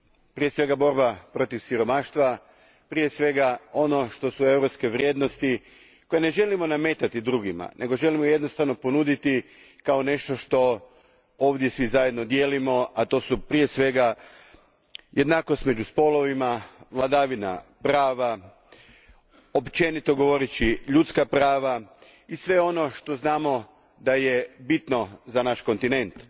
Prije svega borba protiv siromaštva, prije svega ono što su europske vrijednosti koje ne želimo nametati drugima, nego želimo jednostavno ponuditi kao nešto što ovdje svi zajedno dijelimo, a to su prije svega jednakost među spolovima, vladavina prava, općenito govoreći ljudska prava i sve ono za što znamo da je bitno za naš kontinent.